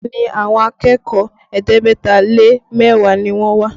Bẹẹ ni, àwọn akẹ́kọ̀ọ́ ẹ̀ẹ́dẹ́gbẹ̀ta lé mẹ́wàá ni wọ́n wá